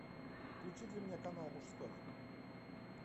включи для меня канал мужской